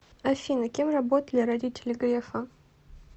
афина кем работали родители грефа